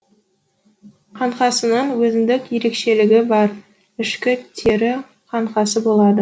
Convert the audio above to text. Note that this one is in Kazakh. қаңқасының өзіндік ерекшелігі бар ішкі тері қаңқасы болады